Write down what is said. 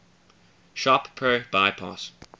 shop pro bypass